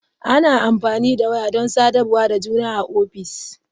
Ana amfani da waya don sadarwa da juna a ofis.